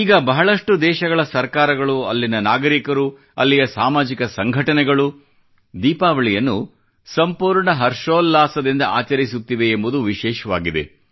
ಈಗ ಬಹಳಷ್ಟು ದೇಶಗಳ ಸರ್ಕಾರಗಳು ಅಲ್ಲಿಯ ನಾಗರಿಕರು ಅಲ್ಲಿಯ ಸಾಮಾಜಿಕ ಸಂಘಟನೆಗಳು ದೀಪಾವಳಿಯನ್ನು ಸಂಪೂರ್ಣ ಹರ್ಷೋಲ್ಲಾಸದಿಂದ ಆಚರಿಸುತ್ತಿವೆ ಎಂಬುದು ವಿಶೇಷವಾಗಿದೆ